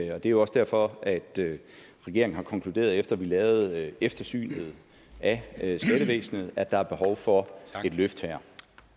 er jo også derfor at regeringen har konkluderet efter vi lavede eftersynet af skattevæsenet at der er behov for et løft her